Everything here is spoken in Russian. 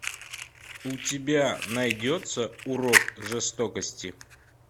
у тебя найдется урок жестокости